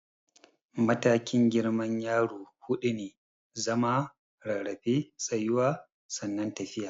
Matakin girman yaro huɗu ne, zama, rarrafe, tsayuwa sannan tafiya.